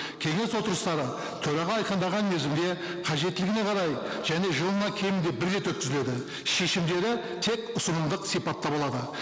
кеңес отырыстары төраға айқындаған мерзімде қажеттілігіне қарай және жылына кемінде бір рет өткізіледі шешімдері тек ұсынымдық сипатта болады